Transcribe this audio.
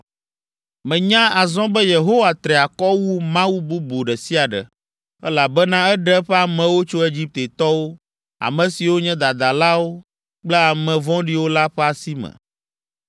Menya azɔ be Yehowa tri akɔ wu mawu bubu ɖe sia ɖe, elabena eɖe eƒe amewo tso Egiptetɔwo, ame siwo nye dadalawo kple ame vɔ̃ɖiwo la ƒe asi me.”